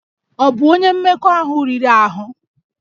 Ọ bụ onye mmekọahụ riri ahụ?